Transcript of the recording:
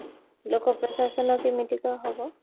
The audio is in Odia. ଲୋକ ପ୍ରଶାସନ କେମିତିକା ହବ